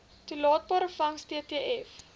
toelaatbare vangs ttv